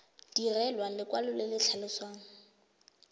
direlwa lekwalo le le tlhalosang